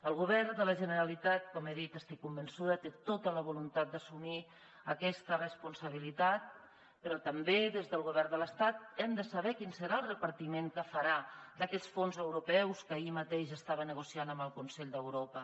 el govern de la generalitat com he dit estic convençuda que té tota la voluntat d’assumir aquesta responsabilitat però també des del govern de l’estat hem de saber quin serà el repartiment que farà d’aquests fons europeus que ahir mateix estava negociant amb el consell d’europa